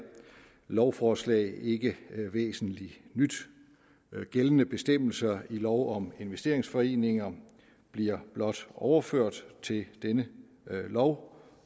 lovforslag ikke væsentligt nyt gældende bestemmelser i lov om investeringsforeninger bliver blot overført til denne lov